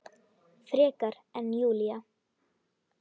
Frekar en Júlía.